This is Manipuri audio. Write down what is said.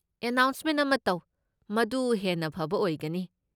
ꯑꯦꯅꯥꯎꯟꯁꯃꯦꯟꯠ ꯑꯃ ꯇꯧ, ꯃꯗꯨ ꯍꯦꯟꯅ ꯐꯕ ꯑꯣꯏꯒꯅꯤ꯫